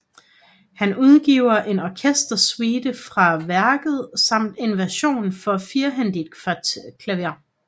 Han udgiver en orkestersuite fra værket samt en version for firehændigt klaver